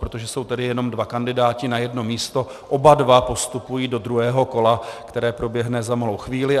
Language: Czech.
Protože jsou tedy jenom dva kandidáti na jedno místo, oba dva postupují do druhého kola, které proběhne za malou chvíli.